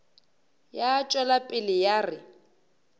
ya tšwela pele ya re